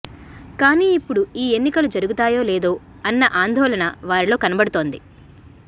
కానీ ఇప్పుడు ఈ ఎన్నికలు జరగుతాయో లేదో అన్న ఆందోళన వారిలో కనబడుతోంది